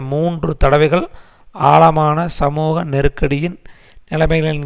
மூன்று தடவைகள் ஆழமான சமூக நெருக்கடியின் நிலைமைகளின்